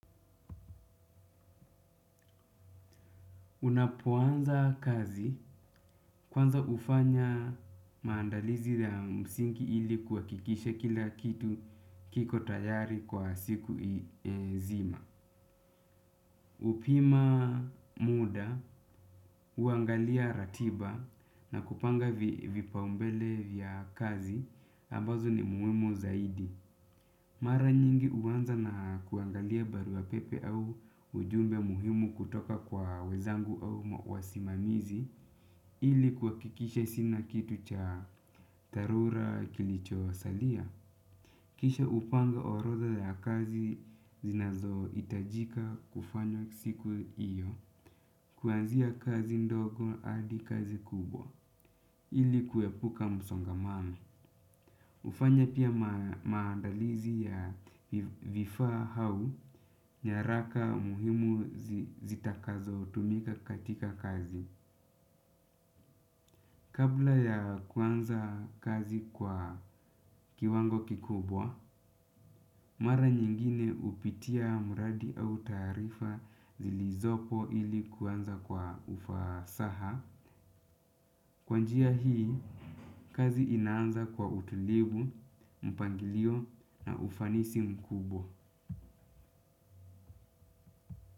Unapoanza kazi, kwanza ufanya maandalizi ya msingi ili kuhakikisha kila kitu kiko tayari kwa siku nzima. Upima muda, huangalia ratiba na kupanga vipao mbele vya kazi, ambazo ni muhimu zaidi. Mara nyingi huwanza na kuangalia barua ya pepe au ujumbe muhimu kutoka kwa wezangu au wasimamizi ili kuhakikisha sina kitu cha dharura kilicho salia. Kisha hupanga orodha ya kazi zinazo itajika kufanya siku iyo. Kuanzia kazi ndogo adi kazi kubwa ili kuepuka msongamano. Ufanya pia maandalizi ya vifaa au, nyaraka muhimu zitakazo tumika katika kazi. Kabla ya kuanza kazi kwa kiwango kikubwa, mara nyingine upitia muradi au taarifa zilizopo ili kuanza kwa ufasaha. Kwanjia hii, kazi inaanza kwa utulivu, mpangilio na ufanisi mkubwa.